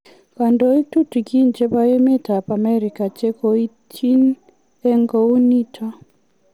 Kandoik tutukin chebo emet ab America che koityin en kouniton